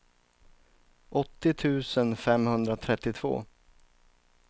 åttio tusen femhundratrettiotvå